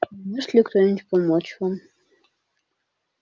а не может ли кто-нибудь помочь вам